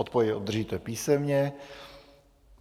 Odpověď obdržíte písemně.